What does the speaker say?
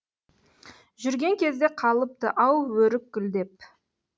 жүрген кезде қалыпты ау өрік гүлдеп